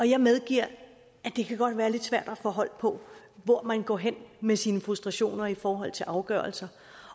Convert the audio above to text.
jeg medgiver at det godt kan være lidt svært at få hold på hvor man går hen med sine frustrationer i forhold til afgørelser